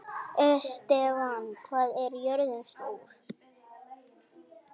Estefan, hvað er jörðin stór?